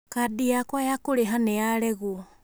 kadi yakwa ya kũrĩha nĩ yaregwo